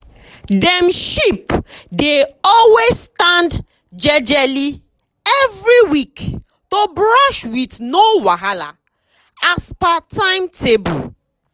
my uncle don um make different plan as per how dem goat go dey chop um grass to meet timetable.